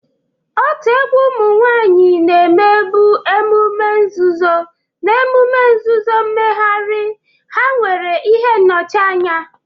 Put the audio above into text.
Otu egwu ụmụ nwanyị na-emebu emume nzuzo na emume nzuzo, mmegharị ha nwere ihe nnọchianya.